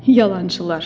Yalancılar!